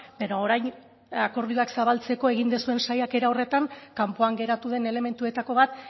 baina orain akordioak zabaltzeko egin duzuen saiakera horretan kanpoan geratu den elementuetako bat